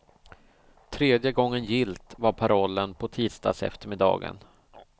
Tredje gången gillt var parollen på tisdagseftermiddagen.